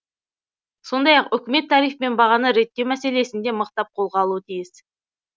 сондай ақ үкімет тариф пен бағаны реттеу мәселесін де мықтап қолға алуы тиіс